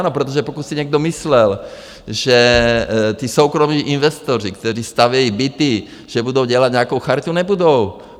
Ano, protože pokud si někdo myslel, že ti soukromí investoři, kteří stavějí byty, že budou dělat nějakou charitu, nebudou!